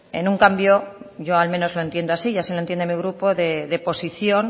en un cambio yo al menos lo entiendo así y así lo entiende mi grupo de posición